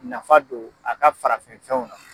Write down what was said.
Nafa don a ka farafin fɛnw na.